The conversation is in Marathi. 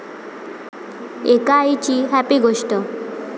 एका आईची 'हॅपी' गोष्ट!